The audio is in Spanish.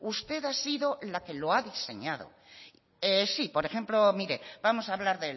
usted ha sido la que lo ha diseñado sí por ejemplo mire vamos a hablar